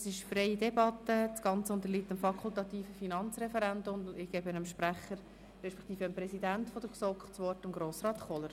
Wir führen eine freie Debatte, das Geschäft unterliegt dem fakultativen Finanzreferendum, und ich gebe das Wort dem Präsidenten der GSoK, Grossrat Kohler.